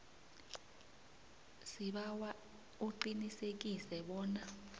sibawa uqinisekise bona